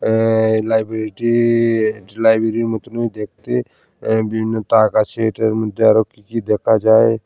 এই লাইব্রেরি -টি লাইব্রেরি -এর মতনই দেখতে অ্যা বিভিন্ন তাক আছে এটার মধ্যে আরো কি কি দেখা যায়।